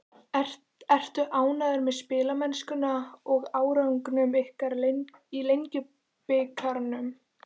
Ertu ánægður með spilamennsku og árangur ykkar í Lengjubikarnum?